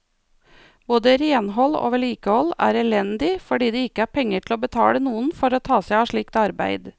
Både renhold og vedlikehold er elendig fordi det ikke er penger til å betale noen for å ta seg av slikt arbeid.